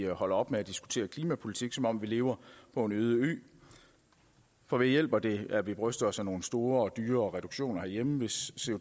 holder op med at diskutere klimapolitik som om vi lever på en øde ø for hvad hjælper det at vi bryster os af nogle store og dyre reduktioner herhjemme hvis